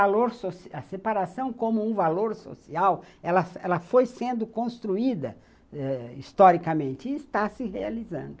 Esse valor social, a separação como um valor social, ela foi sendo construída historicamente e está se realizando.